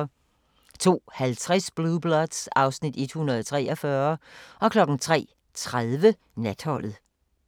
02:50: Blue Bloods (Afs. 143) 03:30: Natholdet